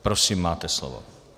Prosím, máte slovo.